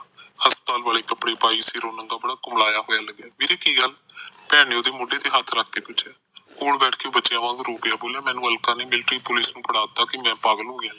ਹਸਪਤਾਲ ਵਾਲੇ ਕੱਪੜੇ ਪਾਈ ਵੀਰੇ ਕੀ ਗੱਲ ਭੈਣ ਨੇ ਉਹਦੇ ਮੋਡੇ ਤੇ ਹੱਥ ਰੱਖ ਕੇ ਪੁਛਿਆ ਕੋਲ ਬਹਿ ਕੇ ਬੱਚਿਆ ਵਾਂਗ ਰੋ ਪਿਆ ਬੋਲਿਆ ਮੈਨੂੰ ਅਲਕਾ ਨੇ ਮਿਲਟਰੀ ਪੁਲਿਸ ਨੂੰ ਫੜਾ ਤਾ ਕਿ ਮੈ ਪਾਗਲ ਹੋ ਗਿਆ